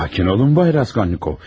Sakin olun, Bay Raskolnikov.